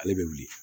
Ale bɛ wuli